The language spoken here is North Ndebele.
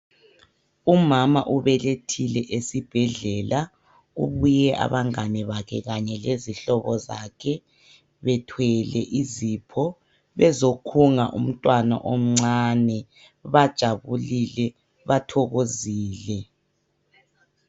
Umama ubelethile esibhedlela kubuye abangani bakhe kanye lezihlobo zakhe bethwele izipho bezokhunga umntwana omncane bajabulile bathokozile.